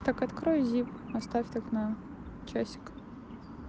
так открой зип оставь так на часик